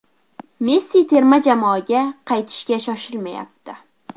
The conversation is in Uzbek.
Messi terma jamoaga qaytishga shoshilmayapti.